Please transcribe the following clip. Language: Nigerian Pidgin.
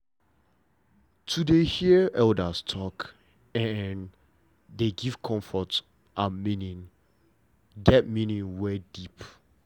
to dey hear elders' talk dey give comfort and meaning get meaning wey deep